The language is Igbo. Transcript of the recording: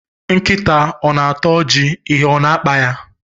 Nkita o na-ata oji, ihe o na-akpaya?